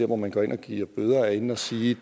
hvor man går ind og giver bøder er inde at sige